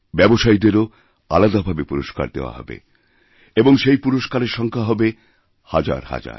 ব্যবসায়ীদেরকেওআলাদাভাবে পুরস্কার দেওয়া হবে এবং সেই পুরস্কারের সংখ্যা হবে হাজারহাজার